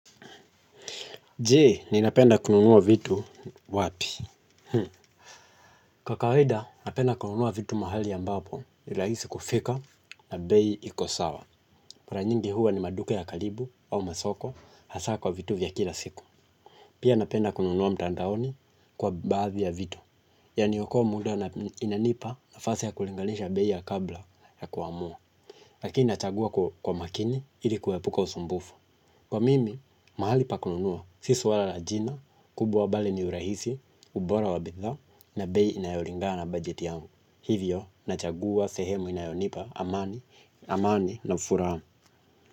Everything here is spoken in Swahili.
Je, ninapenda kununua vitu wapi. Kwa kawaida, napenda kununua vitu mahali ambapo, nirahisi kufika na bei iko sawa. Mara nyingi huwa ni maduka ya karibu au masoko, hasa kwa vitu vya kila siku. Pia napenda kununua mtandaoni kwa baazi ya vitu. Yaniokoa muda na inanipa nafasi ya kulinganisha bei ya kabla ya kuamua. Lakini achagua kwa makini, ili kuepuka usumbufu. Kwa mimi, mahali pa kununua. Si suala la jina, kubwa bali ni urahisi, ubora wabidhaa, na bei inayolingana na bajeti yangu hivyo, nachagua, sehemu inayonipa, amani, amani na furaha.